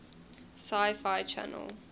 sci fi channel